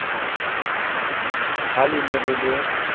ha le ne le le